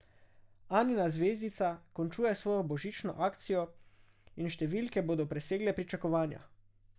Anina zvezdica končuje svojo božično akcijo in številke bodo presegle pričakovanja.